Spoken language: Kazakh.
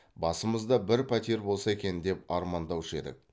басымызда бір пәтер болса екен деп армандаушы едік